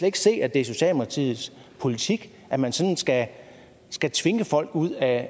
ikke se at det er socialdemokratiets politik at man sådan skal skal tvinge folk ud af